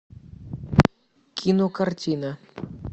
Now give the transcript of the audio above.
кинокартина